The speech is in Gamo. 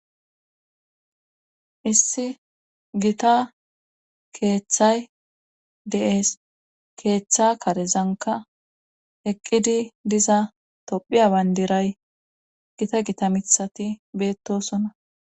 Issi gita keeththay deees keeththa karezanka eqqidi diza tophiya bandiray gita gita mithati beettosona